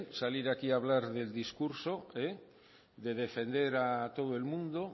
salir aquí a hablar del discurso de defender a todo el mundo